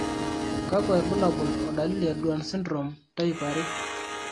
kakwa irbulabol o dalili e Duane syndrome type 2?